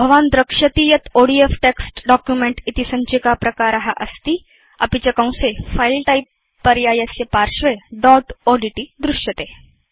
भवान् द्रक्ष्यति यत् ओडीएफ टेक्स्ट् डॉक्युमेंट इति सञ्चिकाप्रकार अस्ति अपि च कंसेFile टाइप पर्यायस्य पार्श्वे दोत् ओड्ट् दृश्यते